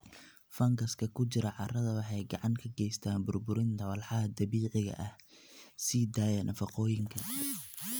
Fangaska ku jira carrada waxay gacan ka geystaan burburinta walxaha dabiiciga ah, sii daaya nafaqooyinka.